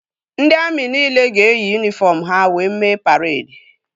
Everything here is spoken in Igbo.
Ndị amị nile ga-eyi yunifọm ha wee mee paredi